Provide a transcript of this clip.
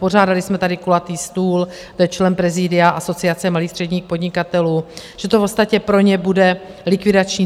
Pořádali jsme tady kulatý stůl - to je člen prezidia Asociace malých a středních podnikatelů - že to v podstatě pro ně bude likvidační.